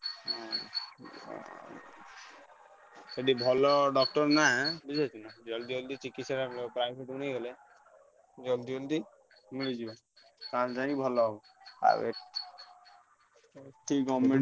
ସେଠି ଭଲ doctor ନା ବୁଝିପାରୁଛୁନା ଜଲଦି ଜଲଦି ଚିକିତ୍ସା private ନେଇଗଲେ ଜଲଦି ଜଲଦି ବୁଝିଲୁ ତାହେଲେ ଯାଇ ଭଲ ହବ ଆଉ ଏଠି government ।